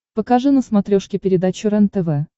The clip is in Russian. покажи на смотрешке передачу рентв